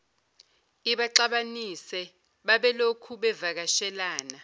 ibaxabanise babelokhu bevakashelana